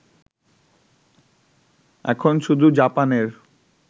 এখন শুধু জাপানের